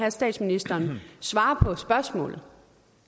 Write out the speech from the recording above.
at statsministeren svarer på spørgsmålet